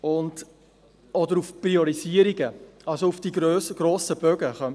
Man könnte sagen, sie beziehen sich auf die grossen Bogen.